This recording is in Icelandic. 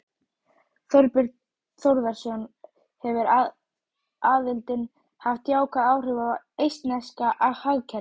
Þorbjörn Þórðarson: Hefur aðildin haft jákvæð áhrif á eistneska hagkerfið?